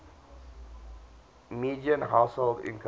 median household income